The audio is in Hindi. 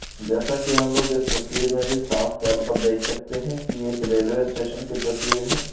जैसा की हम लोग इस तस्वीर मे भी साफ तौर पर देख सकते है की ये एक रेलवे स्टेशन की तस्वीर है।